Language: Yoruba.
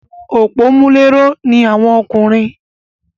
Òpómúléró ni àwọn ọkùnrin